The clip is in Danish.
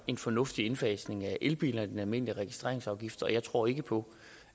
en fornuftig indfasning af elbilerne i den almindelige registreringsafgift og jeg tror ikke på